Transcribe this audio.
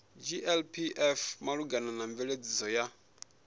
glpf malugana na mveledziso ya